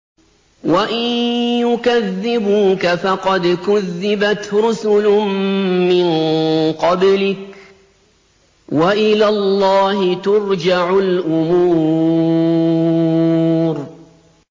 وَإِن يُكَذِّبُوكَ فَقَدْ كُذِّبَتْ رُسُلٌ مِّن قَبْلِكَ ۚ وَإِلَى اللَّهِ تُرْجَعُ الْأُمُورُ